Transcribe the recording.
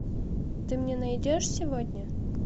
ты мне найдешь сегодня